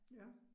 Ja